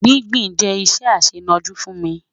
Gbìngbìn jẹ iṣẹ aṣẹnọ̀jú fún mi